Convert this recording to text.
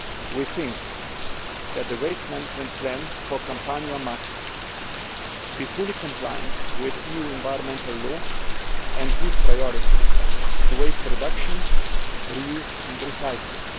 We think that the waste management plan for Campania must be fully compliant with EU environmental law and must give priority to waste reduction, re use and recycling